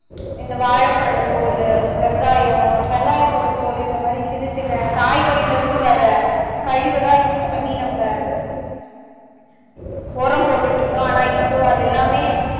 இந்த வாழைப்பழ தோலு, வெங்காயம் வெங்காயத்தோட தோலு இந்த மாதிரி சின்னசின்ன காய்கறியில இருந்து வர்ற கழிவதான் use பண்ணி நம்ப உரம் போட்டுட்டு இருந்தோம் ஆனா இப்போ அது எல்லாமே